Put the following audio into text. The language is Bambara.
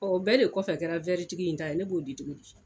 bɛɛ de kɔfɛ kɛra tigi in ta ye ne b'o di cogo di